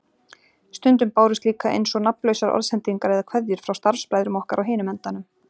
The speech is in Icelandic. Stundum bárust líka eins og nafnlausar orðsendingar eða kveðjur frá starfsbræðrum okkar á hinum endanum.